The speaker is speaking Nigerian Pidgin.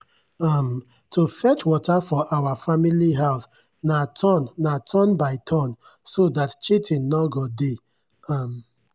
um to fetch water for our family house na turn na turn by turn so dat cheatin nor go dey. um